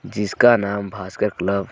जिसका नाम भास्कर क्लब --